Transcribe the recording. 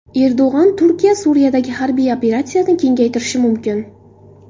Erdo‘g‘on: Turkiya Suriyadagi harbiy operatsiyani kengaytirishi mumkin.